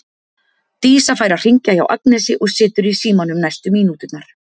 Dísa fær að hringja hjá Agnesi og situr í símanum næstu mínúturnar.